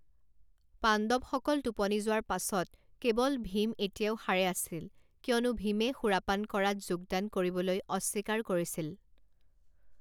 পাণ্ডৱসকল টোপনি যোৱাৰ পাছত, কেৱল ভীম এতিয়াও সাৰে আছিল কিয়নো ভীমে সুৰাপান কৰাত যোগদান কৰিবলৈ অস্বীকাৰ কৰিছিল।